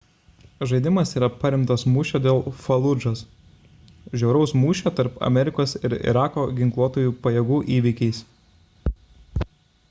žaidimas yra paremtas mūšio dėl faludžos žiauraus mūšio tarp amerikos ir irako ginkluotųjų pajėgų įvykiais